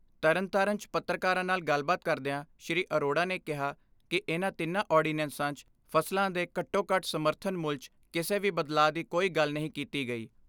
ਤਰਨਤਾਰਨ 'ਚ ਔਰਤਕਾਰਾਂ ਨਾਲ ਗੱਲਬਾਤ ਕਰਦਿਆਂ ਸ੍ਰੀ ਅਰੋੜਾ ਨੇ ਕਿਹਾ ਕਿ ਇਨ੍ਹਾਂ ਤਿੰਨਾਂ ਆਰਡੀਨੈਂਸਾਂ 'ਚ ਫਸਲਾਂ ਦੇ ਘੱਟੋ ਘੱਟ ਸਮਰਥਨ ਮੁਲ 'ਚ ਕਿਸੇ ਵੀ ਬਦਲਾਅ ਦੀ ਕੋਈ ਗੱਲ ਨਹੀਂ ਕੀਤੀ ਗਈ।